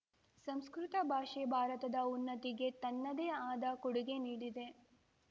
ಸಂಸ್ಕೃತ ಭಾಷೆ ಭಾರತದ ಉನ್ನತಿಗೆ ತನ್ನದೇ ಆದ ಕೊಡುಗೆ ನೀಡಿದೆ